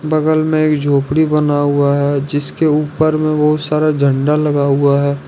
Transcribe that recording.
बगल में एक झोपड़ी बना हुआ है जिसके ऊपर में बहुत सारा झंडा लगा हुआ है।